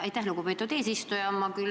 Aitäh, lugupeetud eesistuja!